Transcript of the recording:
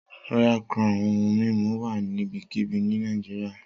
Royal Crown ohun mimu wa nibikibi ni Nigeria.